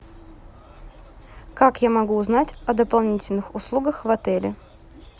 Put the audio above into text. как я могу узнать о дополнительных услугах в отеле